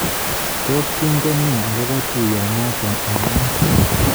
Tos kingen ne akobo tuiyonoto ung'aat?